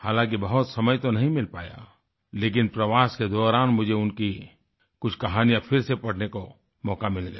हालांकि बहुत समय तो नहीं मिल पाया लेकिन प्रवास के दौरान मुझे उनकी कुछ कहानियाँ फिर से पढ़ने का मौका मिल गया